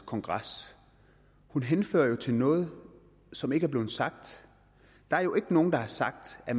kongres hun henfører det jo til noget som ikke er blevet sagt der er jo ikke nogen der har sagt at